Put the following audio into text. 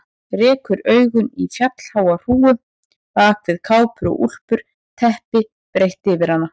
Rekur augun í fjallháa hrúgu bak við kápur og úlpur, teppi breitt yfir hana.